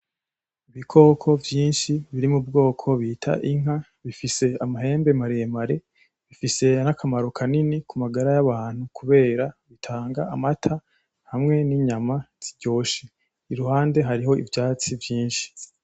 Ibikoko vyinshi biri m' ubwoko bita Inka zifise amahembe maremare, zifise n'akamaro kanini kumagara y'abantu kubera zitanga amata hamwe n' inyama ziryoshe, iruhande hari n'ivyatsi vyinshi